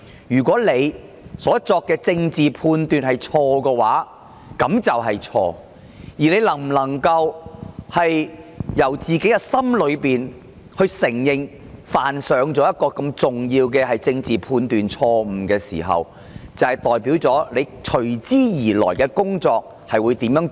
如果她所作的政治判斷是錯的，而她真心承認犯了如此嚴重的政治判斷錯誤，便代表她往後的工作態度。